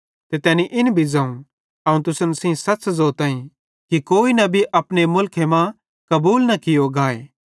ते तैनी इन भी ज़ोवं अवं तुसन सेइं सच़ ज़ोताईं कि कोई नबी अपने मुलखे मां कबूल न कियो गाए